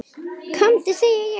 KOMDU SEGI ÉG!